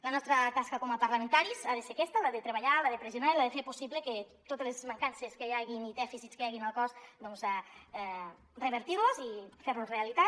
la nostra tasca com a parlamentaris ha de ser aquesta la de treballar la de pressionar i la de fer possible que totes les mancances que hi hagi i dèficits que hi hagi al cos revertir los i fer realitat